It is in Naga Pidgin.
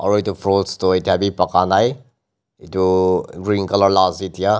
Aro etu fruits tu etya beh baka nai etu uh green colour la ase.